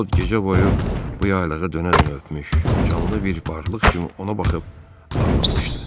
O gecə boyu bu yaylığı dönə-dönə öpmüş, canlı bir varlıq kimi ona baxıb ağlamışdı.